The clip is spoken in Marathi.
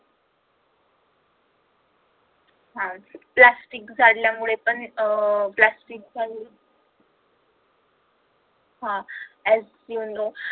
हा प्लास्टिक जाळ्यामुळे पण अह प्लास्टिक हा as you know